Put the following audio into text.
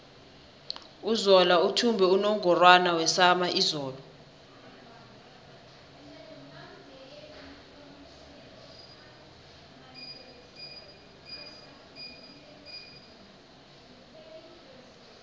uzola uthumbe unungorwana wesama izolo